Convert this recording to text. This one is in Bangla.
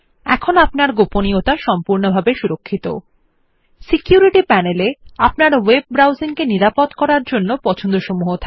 এখন আপনার গোপনীয়তা সম্পূর্ণ সুরক্ষিত সিকিউরিটি প্যানেল এ আপনার ওয়েব ব্রাউজিং কে নিরাপদ করার জন্য পছন্দসমূহ রয়েছে